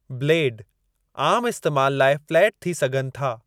Blade आम इस्तेमाल लाइ फ़्लैट थी सघनि था।